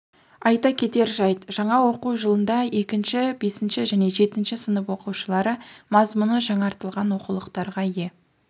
айта кетер жайт жаңа оқу жылында екінші бесінші және жетінші сынып оқушылары мазмұны жаңартылған оқулықтарға ие